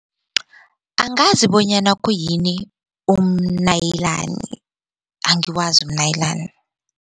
Angazi bonyana khuyini umnyaliyani angiwazi umnyalinani.